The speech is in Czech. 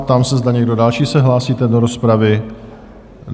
Ptám se, zda někdo další se hlásíte do rozpravy?